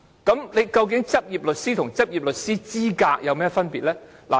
究竟"執業律師"和"執業律師資格"有何分別？